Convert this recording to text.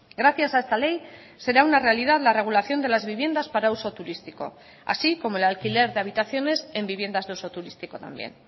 gracias a esta ley será una realidad la regulación de las viviendas para uso turístico así como el alquiler de habitaciones en viviendas de uso turístico también